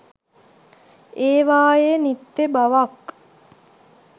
ඒවායේ නිත්‍ය බවක්